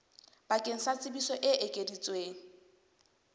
bakeng sa tsebiso e ekeditsweng